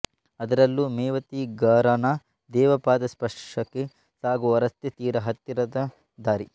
ಅದರಲ್ಲೂ ಮೇವಾತಿ ಘರಾನ ದೇವಪಾದ ಸ್ಪರ್ಷಕ್ಕೆ ಸಾಗುವ ರಸ್ತೆ ತೀರಾ ಹತ್ತಿರದ ದಾರಿ